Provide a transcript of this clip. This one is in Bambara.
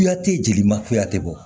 Kuyate jelimakuya te bɔ